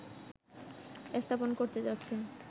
স্থাপন করতে যাচ্ছে